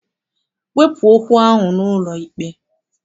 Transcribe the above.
Wepụ okwu ahụ n'ụlọikpe!